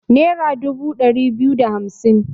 Nera dubu ɗari biyu da hamsin